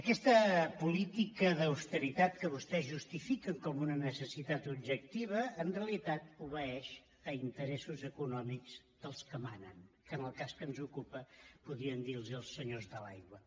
aquesta política d’austeritat que vostès justifiquen com una necessitat objectiva en realitat obeeix a interessos econòmics dels que manen que en el cas que ens ocupa podríem dir ne els senyors de l’aigua